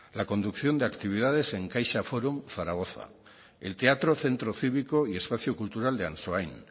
la conducción de actividades en caixa forum zaragoza el teatro centro cívico y espacio cultural de ansoain